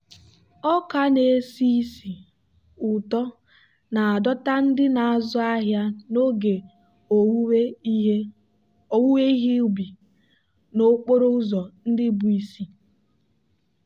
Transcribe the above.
ọka na-esi ísì ụtọ na-adọta ndị na-azụ ahịa n'oge owuwe ihe ubi n'okporo ụzọ ndị bụ isi.